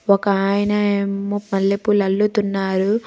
ఒక ఆయన అయమ్మ మల్లెపూలు అల్లుతున్నారు.